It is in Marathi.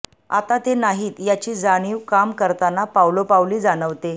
आता ते नाहीत याची जाणीव काम करताना पावलोपावली जाणवते